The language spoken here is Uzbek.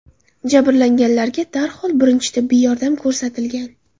Jabrlanganlarga darhol birinchi tibbiy yordam ko‘rsatilgan.